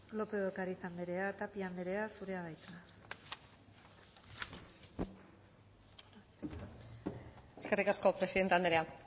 lópez de ocariz anderea tapia anderea zurea da hitza eskerrik asko presidente anderea